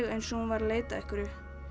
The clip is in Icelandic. eins og hún væri að leita að einhverju